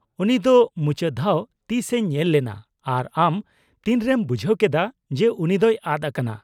-ᱩᱱᱤ ᱫᱚ ᱢᱩᱪᱟᱹᱫ ᱫᱷᱟᱣ ᱛᱤᱥᱼᱮ ᱧᱮᱞ ᱞᱮᱱᱟ ᱟᱨ ᱟᱢ ᱛᱤᱱᱨᱮᱢ ᱵᱩᱡᱷᱟᱹᱣ ᱠᱮᱫᱟ ᱡᱮ ᱩᱱᱤ ᱫᱚᱭ ᱟᱫ ᱟᱠᱟᱱᱟ ?